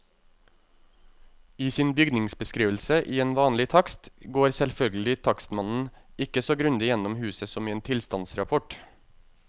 I sin bygningsbeskrivelse i en vanlig takst går selvfølgelig takstmannen ikke så grundig igjennom huset som i en tilstandsrapport.